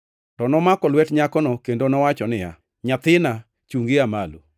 To nomako lwet nyakono kendo nowacho niya, “Nyathina, chungi ia malo.”